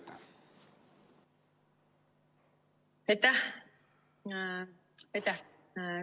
Aitäh!